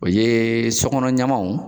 O ye so kɔnɔ ɲamanw